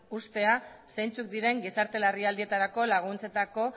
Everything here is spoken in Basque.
uztea zeintzuk diren gizarte larrialdietarako laguntzetako